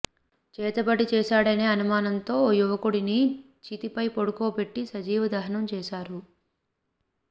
చేతబడి చేశాడనే అనుమానంతో ఓ యువకుడిని చితిపై పడుకొపెట్టి సజీవ దహనం చేశారు